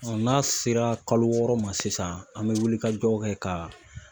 n'a sera kalo wɔɔrɔ ma sisan an be wulikajɔ kɛ ka